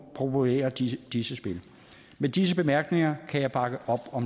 promovere disse disse spil med disse bemærkninger kan jeg bakke